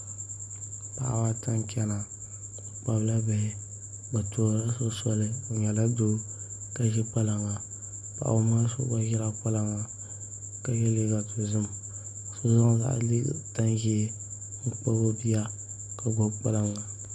Paɣaba ata n chɛna ka kpabi bihi bi tuhurila so soli o nyɛla doo ka ʒi kpalaŋa paɣaba ŋɔ maa so gba ʒila kpalaŋa ka yɛ liiga dozim so zaŋ tani ʒiɛ n kpabi o bia ka gbubi kpalaŋa